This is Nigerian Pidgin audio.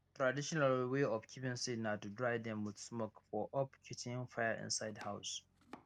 traditional way of keeping seed na to dry dem with smoke for up kitchen fire inside house